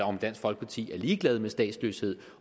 om dansk folkeparti er ligeglad med statsløshed